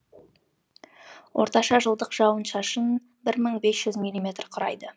орташа жылдық жауын шашын бір мың бес жүз милиметр құрайды